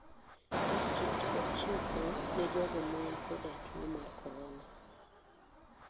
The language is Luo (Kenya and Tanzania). District ok chiw kony ne jogo man koda tuo mar korona.